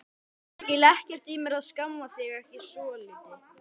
Ég skil ekkert í mér að skamma þig ekki svolítið.